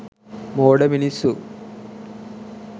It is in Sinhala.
මෝඩ මිනිස්සු